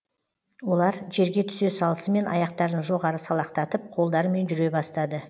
олар жерге түсе салысымен аяқтарын жоғары салақтатып қолдарымен жүре бастады